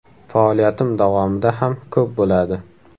Faoliyatim davomida ham ko‘p bo‘ladi.